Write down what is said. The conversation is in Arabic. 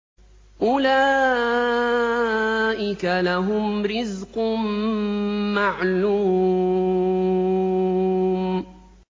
أُولَٰئِكَ لَهُمْ رِزْقٌ مَّعْلُومٌ